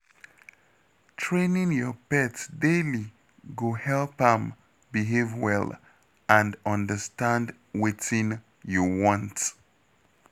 Training your pet daily go help am behave well and understand wetin you want.